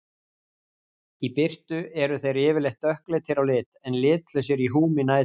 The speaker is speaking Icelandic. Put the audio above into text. Í birtu eru þeir yfirleitt dökkleitir á lit en litlausir í húmi nætur.